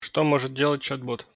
что может делать чат бот